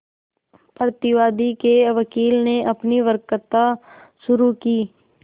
प्रतिवादी के वकील ने अपनी वक्तृता शुरु की